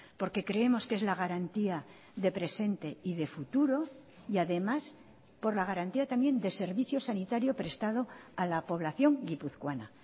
porque creemos que es la garantía de presente y de futuro y además por la garantía también de servicio sanitario prestado a la población guipuzcoana